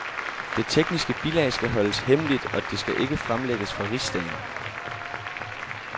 Det tekniske bilag skal holdes hemmeligt, og det skal ikke fremlægges for rigsdagen.